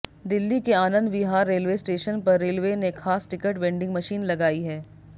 दिल्ली के Anand Vihar railway station पर railway ने खास टिकट वेंडिंग मशीन लगाई है